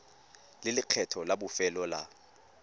le lekgetho la bofelo la